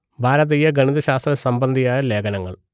ഭാരതീയ ഗണിത ശാസ്ത്ര സംബന്ധിയായ ലേഖനങ്ങൾ